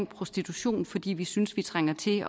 prostitution fordi vi synes vi trænger til